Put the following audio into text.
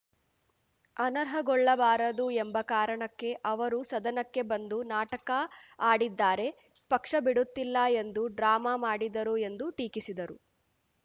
ಅನರ್ಹಗೊಳ್ಳಬಾರದು ಎಂಬ ಕಾರಣಕ್ಕೆ ಅವರು ಸದನಕ್ಕೆ ಬಂದು ನಾಟಕ ಆಡಿದ್ದಾರೆ ಪಕ್ಷ ಬಿಡುತ್ತಿಲ್ಲ ಎಂದು ಡ್ರಾಮ ಮಾಡಿದರು ಎಂದು ಟೀಕಿಸಿದರು